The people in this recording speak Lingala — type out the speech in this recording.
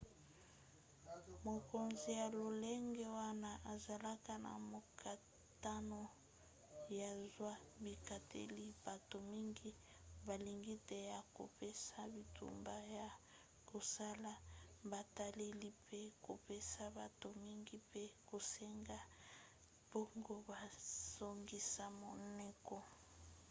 mokonzi ya lolenge wana azalaka na mokakatano ya kozwa bikateli bato mingi balingi te ya kopesa bitumba ya kosala botaleli mpe kopesa bato mingi mpe kosenga bango bazongisa monoko